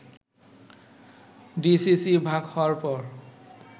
DCC ভাগ হওয়ার পর